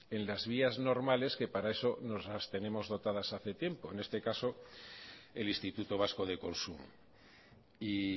en las vías normales que para eso nos las tenemos dotadas hace tiempo en este caso el instituto vasco de consumo y